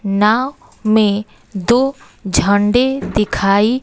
नाव में दो झंडे दिखाई--